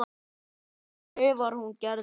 skrifar hún Gerði.